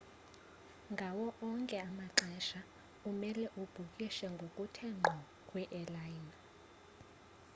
ngawo onke amaxesha umele ubhukishe ngokuthe ngqo kwi-airline